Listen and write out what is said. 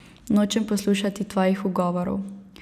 Nočem poslušati tvojih ugovorov.